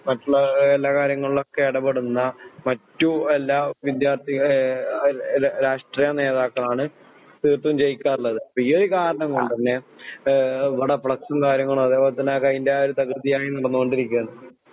മറ്റുള്ള എല്ലാ കാര്യങ്ങളിലുമൊക്കെ ഇടപെടുന്ന മറ്റു എല്ലാ വിദ്യാർത്ഥികള് ഏഹ് രാഷ്ട്രീയ നേതാക്കളാണ് തീർത്തും ജെയിക്കാറുള്ളത് ഈയൊരു കാരണം കൊണ്ടുതന്നെ മ്മടെ ഫ്ലക്സും കാര്യങ്ങളൊക്കെ അതേപോലെതന്നെ അതിൻ്റെയായ തകൃതിയായി നടന്നോണ്ടിരിക്കയാണ്